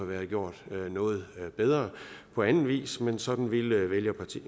været gjort noget bedre på anden vis men sådan ville